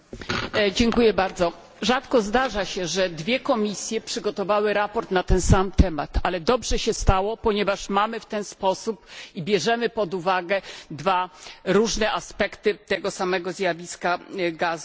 Rzadko zdarza się, żeby dwie komisje przygotowały sprawozdanie na ten sam temat, ale dobrze się stało, ponieważ mamy w ten sposób i bierzemy pod uwagę dwa różne aspekty tego samego zjawiska gazu łupkowego.